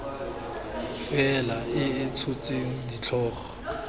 faela e e tshotseng ditlhogo